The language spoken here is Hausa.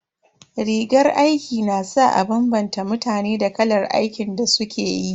Rigar aiki na sa a bambanta mutane da kalar aikin da suke yi.